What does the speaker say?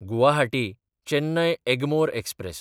गुवाहाटी–चेन्नय Egmore express